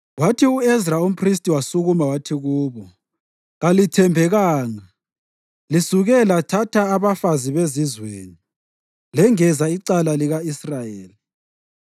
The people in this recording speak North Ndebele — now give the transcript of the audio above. Kwathi u-Ezra umphristi wasukuma wathi kubo, “Kalithembekanga; lisuke lathatha abafazi bezizweni, lengeza icala lika-Israyeli.